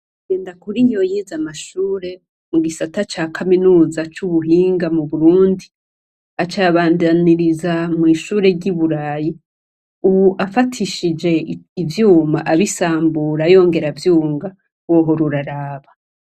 Ngendakuriyo yize amashure mu gisata ca Kaminuza c'Ubuhinga mu Burundi aca ayabandaniririza mw'ishure ry'uburayi. Ubu afatishije ivyuma abisambura yongera avyunga wohora uraraba.